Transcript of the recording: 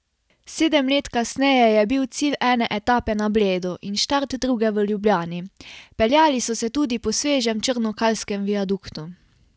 Sedem let kasneje je bil cilj ene etape na Bledu in štart druge v Ljubljani, peljali so se tudi po svežem črnokalskem viaduktu.